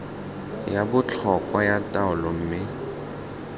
ya botlhokwa ya taolo mme